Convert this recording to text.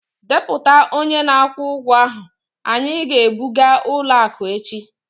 Dejupụta onye na-akwụ ụgwọ ahụ, anyị ga-ebuga ụlọ akụ echi..